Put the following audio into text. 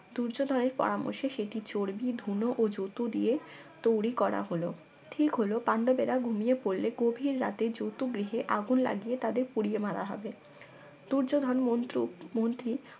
দুর্যোধনের পরামর্শ সেটি চর্বি ধুনো ও যতু দিয়ে তৈরি করা হল ঠিক হলো পান্ডবেরা ঘুমিয়ে পড়লে গভীর রাতে যতু গৃহে আগুন লাগিয়ে তাদের পুড়িয়ে মারা হবে দুর্যোধন মন্ত্র মন্ত্রী